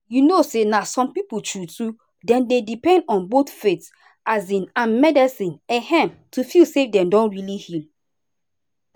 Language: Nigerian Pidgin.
you know na some people true true dem dey depend on both faith um and medicine um to feel say dem don really heal.